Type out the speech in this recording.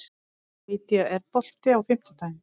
Lýdía, er bolti á fimmtudaginn?